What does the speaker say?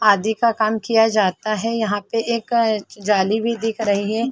आदि का काम किया जाता है। यहाँ पे एक जाली भी दिख रही है।